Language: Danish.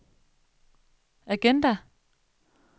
agenda